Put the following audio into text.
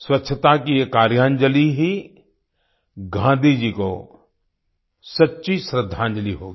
स्वच्छता की ये कार्यांजलि ही गांधी जी को सच्ची श्रद्दांजलि होगी